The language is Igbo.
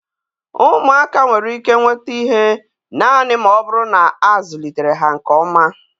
Ụmụaka nwere ike nweta ihe naanị ma ọ bụrụ na a zụlitere ha nke ọma